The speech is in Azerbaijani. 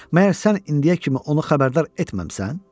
Məyər sən indiyə kimi onu xəbərdar etməmisən?